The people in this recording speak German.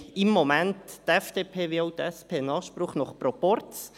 Im Moment haben die FDP wie auch die SP einen Anspruch nach Proporz.